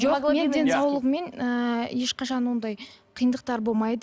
жоқ мен денсаулығыммен ыыы ешқашан ондай қиындықтар болмайды